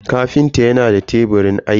kafinta yana da teburin aiki.